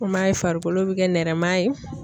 U m'a ye farikolo bɛ kɛ nɛrɛma ye.